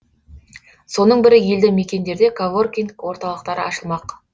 соның бірі елді мекендерде коворкинг орталықтары ашылмақ